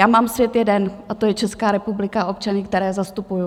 Já mám svět jeden a to je Česká republika, občané, které zastupuji.